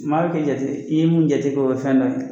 Maa kɛ jate i ye mun jate k'o kɛ fɛn dɔ ye